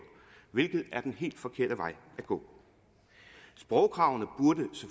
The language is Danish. hvilket er den helt forkerte vej at gå sprogkravene